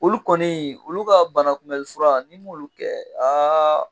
Olu kɔni olu ka bana kunmɛnli fura n'i m'olu kɛ